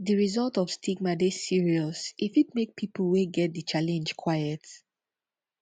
di result of stigma dey serious e fit make pipo wey get di challenge quiet